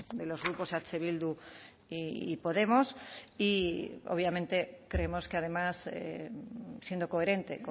de los grupos eh bildu y podemos y obviamente creemos que además siendo coherente